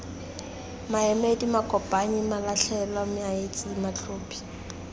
maemedi makopanyi malatlhelwa maetsi matlhophi